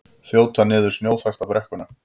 Þjóta niður snjóþakta brekkuna